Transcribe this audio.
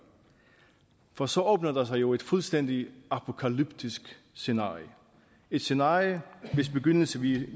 for så åbner der sig jo et fuldstændig apokalyptisk scenarie et scenarie hvis begyndelse vi